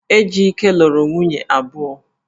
Ejike luru nwunye abuo